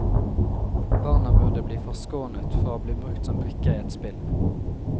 Barna burde bli forskånet fra å bli brukt som brikker i et spill.